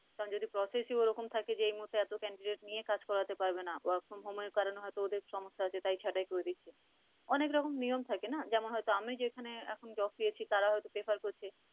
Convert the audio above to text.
কারন যদি process ই ওরকম থাকে যে এই মুহূর্তে এত candidate নিয়ে কাজ করাতে পারবে না। work form home এর কারনে হয়তো ওদের সমস্যা আছে তাই ছাটাই করে দিচ্ছে। অনেক রকম নিয়ম থাকে না যেমন হয়তো আমি যেখানে এখন job পেয়েছি তারাও হয়তো prefer করছে।